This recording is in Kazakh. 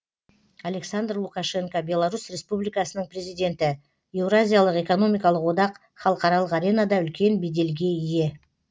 александр лукашенко беларусь республикасының президенті еуразиялық экономикалық одақ халықаралық аренада үлкен беделге ие